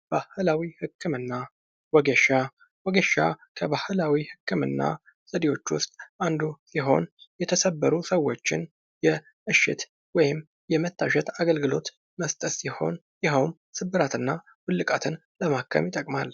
ባህላዊ ህክምና ወጌሻ ወጌሻ ከባህላዊ ህክምና ዘዴዎች ውስጥ አንዱ የሆነው ሲሆን የተሰበሩ ሰዎችን የእሽት ወይም የመታሸት አገልግሎት መስጠት ሲሆን ይኸውም ስብራትንና ውልቃትን ለማከም ይጠቅማል።